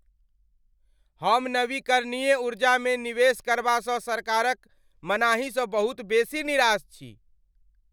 हम नवीकरणीय ऊर्जामे निवेश करबासँ सरकारक मनाहीसँ बहुत बेसी निराश छी।